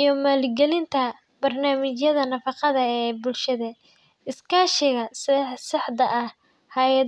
iyo maal galinta barnamijada naafaqada ee bulshada iskashiga saax daa eh hayaada.